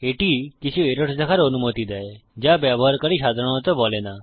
এটি কিছু এরর্স দেখার অনুমতি দেয় যা ব্যবহারকারী সাধারণত বলে না